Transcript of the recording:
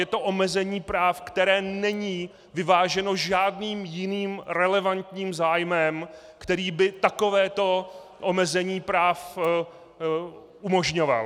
Je to omezení práv, které není vyváženo žádným jiným relevantním zájmem, který by takovéto omezení práv umožňoval.